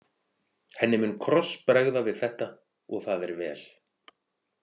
Henni mun krossbregða við þetta og það er vel.